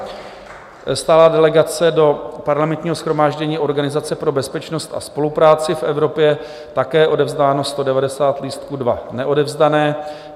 Stálá delegace do Parlamentního shromáždění Organizace pro bezpečnost a spolupráci v Evropě, také odevzdáno 190 lístků, 2 neodevzdané.